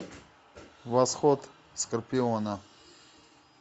восход скорпиона